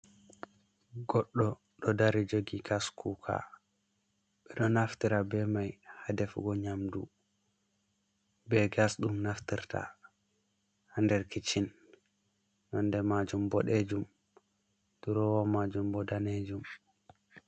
goɗɗo ɗo dari jogi kaskuka ɓe ɗo naftira be mai ha defugo nyamdu, be gas ɗum naftirta ha nder kitchen, nonde majum boɗejum, drowa majum bo danejum.